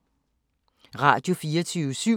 Radio24syv